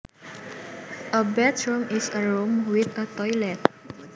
A bathroom is a room with a toilet